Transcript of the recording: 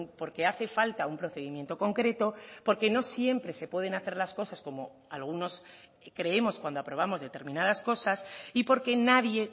porque hace falta un procedimiento concreto porque no siempre se pueden hacer las cosas como algunos creemos cuando aprobamos determinadas cosas y porque nadie